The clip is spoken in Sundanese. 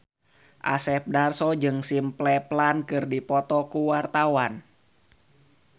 Asep Darso jeung Simple Plan keur dipoto ku wartawan